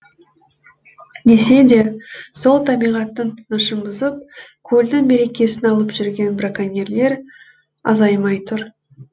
десе де сол табиғаттың тынышын бұзып көлдің берекесін алып жүрген браконьерлер азаймай тұр